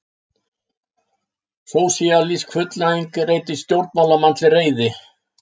Sósíalísk fullnæging reitir stjórnmálamenn til reiði